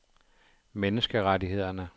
menneskerettighederne